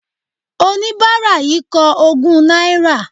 Oníbárà yìí ń kọ ogún náírà